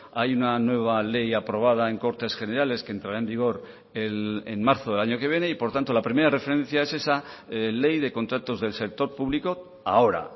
hay una nueva ley aprobada en cortes generales que entrara en vigor en marzo del año que viene y por tanto la primera referencia es esa ley de contratos del sector público ahora